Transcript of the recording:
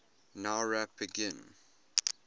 nowrap begin